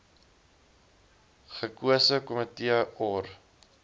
gekose komitee or